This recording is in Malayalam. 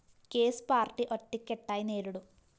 കേസ് പാര്‍ട്ടി ഒറ്റക്കെട്ടായി നേരിടും